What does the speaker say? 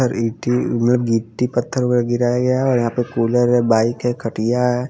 उधर गिट्टी उधर गिट्टी पत्थर गिराया गया है और यहाँ पे कूलर है बाइक है खटिया है।